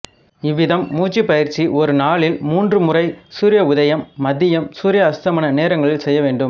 இவ்விதம் மூச்சுப் பயிற்சி ஒரு நாளில் மூன்று முறை சூரிய உதயம் மதியம் சூரிய அஸ்தமன நேரங்களில் செய்யவேண்டும்